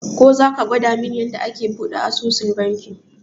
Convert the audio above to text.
Ko zaka gwadamin yanda ake buɗe asusun banki?